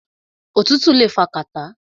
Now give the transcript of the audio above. Òtútù le fa kàtá.